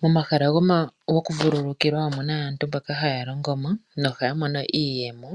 Momahala gokuvululukilwa omuna aantu mboka haya longo mo nohaya mono iiyemo.